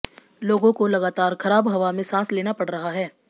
लोगों को लगातार खराब हवा में सांस लेना पड़ रहा है